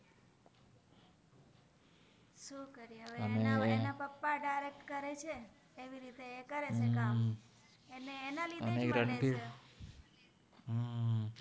અવે એન પપ્પા દાઈરેક્ત કરે છે એવી રિતે એ કરે છે કામ એને એના લિધે